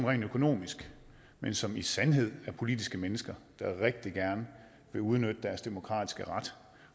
rent økonomisk men som i sandhed er politiske mennesker der rigtig gerne vil udnytte deres demokratiske ret